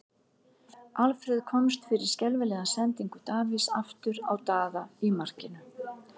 Alfreð komst fyrir skelfilega sendingu Davíðs aftur á Daða í markinu.